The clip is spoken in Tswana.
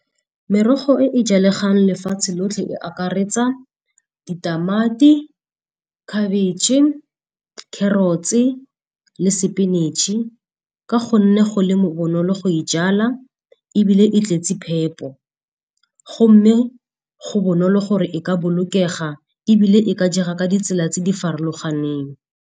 Merogo e e jalegang lefatshe lotlhe e akaretsa ditamati, khabitšhe, carrot-e le sepinatšhe ka gonne go le bonolo go e jala. Ebile e tletse phepo gomme go bonolo gore e ka bolokega, ebile e ka jega ka ditsela tse di farologaneng.